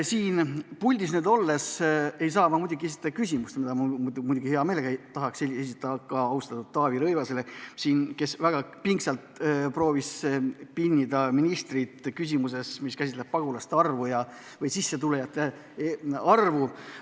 Siin puldis olles ei saa ma muidugi esitada küsimust, mille ma hea meelega tahaks esitada austatud Taavi Rõivasele, kes väga pingsalt proovis pinnida ministrit pagulaste arvu või sissetulijate arvu küsimuses.